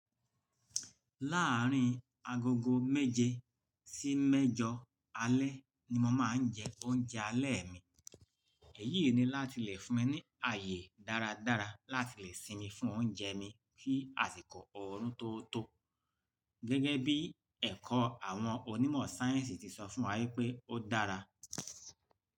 Láàárín agogo méje sí mẹ́jọ alẹ́ ni mo máa ń jẹ oúnjẹ alẹ́ mi. Èyí ni láti lè fún mi ní ààyè dáradára láti lè sinmi fún oúnjẹ mi kí àsìkò ọ̀run tó tó. Gẹ́gẹ́ bí ẹ̀kọ́ àwọn onímọ̀ sáyẹ́ǹsì ti sọ fún wa wípé ó dára.